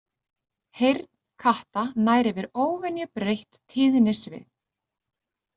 Heyrn katta nær yfir óvenju breitt tíðnisvið.